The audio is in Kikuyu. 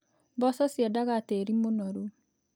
Mboco ciendaga tĩĩri mũnoru.